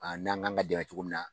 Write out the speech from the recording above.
A n'an k'an ka dɛmɛ cogo min na.